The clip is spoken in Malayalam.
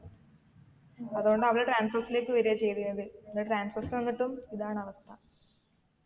അതോണ്ട് അവർ transorze ലേക്ക് വരാ ചെയ്തതിന്നത് പിന്നെ transorze ൽ വന്നിട്ടും ഇതാണ് അവസ്ഥ